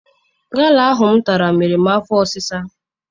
Gala ahụ m tara mere m afọ ọsisa.